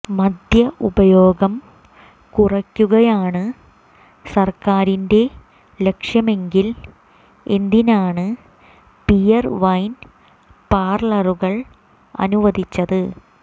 മദ്യ ഉപയോഗം കുറയ്ക്കുകയാണ് സർക്കാരിന്റെ ലക്ഷ്യമെങ്കിൽ എന്തിനാണ് ബിയർ വൈൻ പാർലറുകൾ അനുവദിച്ചത്